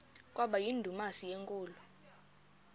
kwaba yindumasi enkulu